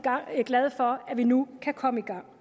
glade for at vi nu kan komme i gang